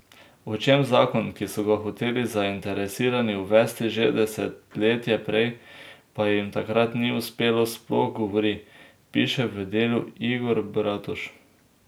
O čem zakon, ki so ga hoteli zainteresirani uvesti že desetletje prej, pa jim takrat ni uspelo, sploh govori, piše v Delu Igor Bratož.